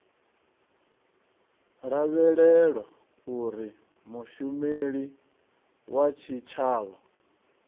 lavhelelwa uri mushumeli wa tshitshavha